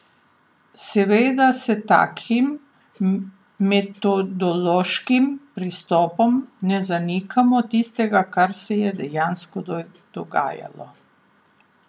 Seveda s takim metodološkim pristopom ne zanikamo tistega, kar se je dejansko dogajalo.